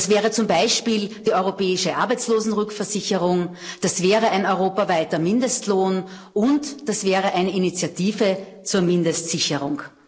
Das wäre zum Beispiel die europäische Arbeitslosenrückversicherung, das wäre ein europaweiter Mindestlohn und das wäre eine Initiative zur Mindestsicherung.